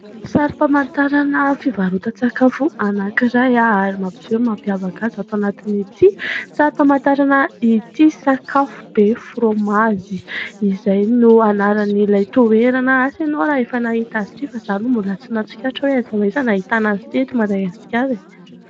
Sarim-pamantarana fivarotan-tsakafo anankiray ary mampiseho ny mampiavaka azy ato anatin'ity sarim-pamantarana ity. "SAK'AFO BE FROMAGE" izay no anaran'ilay toerana asa ianao raha efa nahita azy ity fa izaho aloha mbola tsy nahatsikaritra oe aiza ho aiza no ahitana azy ity eto Madagasikara e !